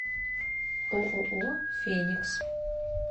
ооо феникс